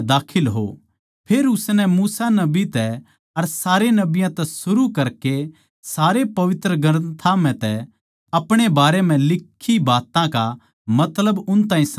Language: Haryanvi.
फेर उसनै मूसा नबी तै अर सारे नबियाँ तै सरु करकै सारे पवित्र ग्रन्थां म्ह तै अपणे बारै म्ह लिक्खी बात्तां का मतलब उन ताहीं समझा दिया